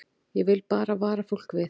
Ég vil bara vara fólk við.